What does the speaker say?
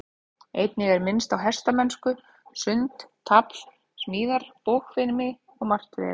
Einnig er minnst á hestamennsku, sund, tafl, smíðar, bogfimi og margt fleira.